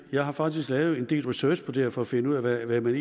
jeg har faktisk lavet en del research på det her for at finde ud af hvad man